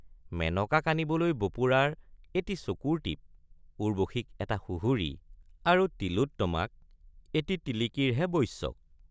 মেনকাক আনিবলৈ বপুৰাৰ এটি চকুৰ টিপ্‌ উৰ্ব্বশীক এটা সুহুৰি আৰু তিলোত্তমাক এটি টিলিকিৰ হে বশ্যক।